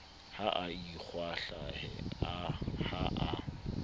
ha a ikwahlahe ha a